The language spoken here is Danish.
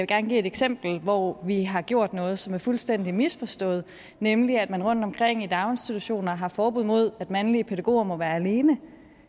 gerne give et eksempel hvor vi har gjort noget som er fuldstændig misforstået nemlig at man rundtomkring i daginstitutioner har forbud mod at mandlige pædagoger må være alene